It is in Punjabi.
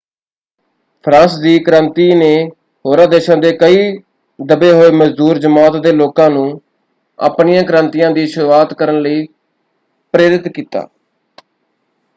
ਫਰਾਂਸ ਦੀ ਕ੍ਰਾਂਤੀ ਨੇ ਹੋਰਾਂ ਦੇਸ਼ਾਂ ਦੇ ਕਈ ਦਬੇ ਹੋਏ ਮਜ਼ਦੂਰ ਜਮਾਤ ਦੇ ਲੋਕਾਂ ਨੂੰ ਆਪਣੀਆਂ ਕ੍ਰਾਂਤੀਆਂ ਦੀ ਸ਼ੁਰੂਆਤ ਕਰਨ ਲਈ ਪ੍ਰੇਰਿਤ ਕੀਤਾ।